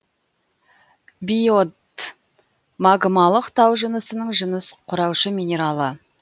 биотдт магмалық тау жынысының жыныс құраушы минералы